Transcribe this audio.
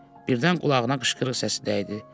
Birdən qulağına qışqırıq səsi dəydi.